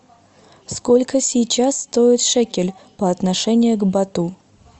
сколько сейчас стоит шекель по отношению к бату